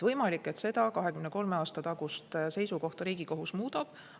Võimalik, et seda 23 aasta tagust seisukohta Riigikohus muudab.